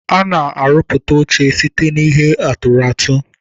A na-arụpụta oche site n'ihe atụrụatụ.